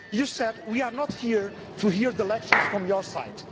You said we are not here to hear lectures from your side.